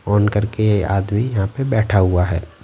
On करके ये आदमी यहाँ पर बैठा हुआ है।